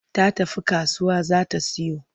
Ta tafi kasuwa za ta siyo.